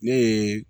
Ne ye